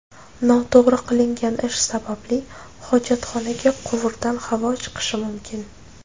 Noto‘g‘ri qilingan ish sababli, hojatxonaga quvurdan havo chiqishi mumkin.